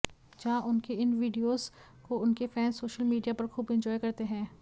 जहां उनके इन वीडियोस को उनके फैंस सोशल मीडिया पर खूब एन्जॉय करते हैं